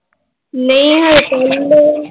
ਨਈ ਹਜੇ ਕਹਿੰਦੇ l